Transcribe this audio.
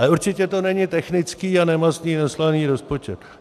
Ale určitě to není technický a nemastný neslaný rozpočet.